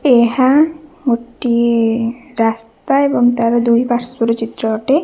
ଏହା ଗୋଟିଏ ରାସ୍ତା ଏବଂ ତାର ଦୁଇପାର୍ଶ୍ଵର ଚିତ୍ର ଅଟେ।